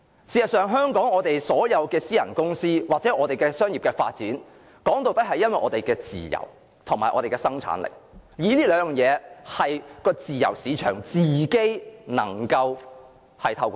事實上，香港的私人公司或商業機構，說到底是建基於我們的自由和生產力，而這兩項事物是經由自由市場自己調節的。